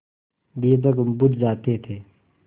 दीपक बुझ जाते थे